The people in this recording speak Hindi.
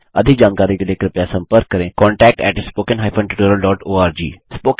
अधिक जानकारी के लिए कृपया संपर्क करें contact at spoken hyphen tutorial dot ORG